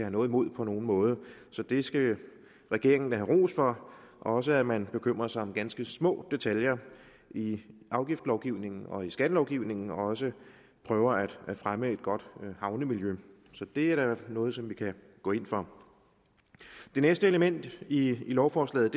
noget imod på nogen måde så det skal regeringen da have ros for også at man bekymrer sig om ganske små detaljer i i afgiftslovgivningen og i skattelovgivningen og også prøver at fremme et godt havnemiljø så det er da noget som vi kan gå ind for det næste element i lovforslaget